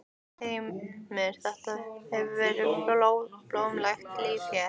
Heimir: Þetta hefur verið blómlegt líf hérna?